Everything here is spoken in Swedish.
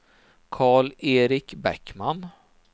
Karl-Erik Bäckman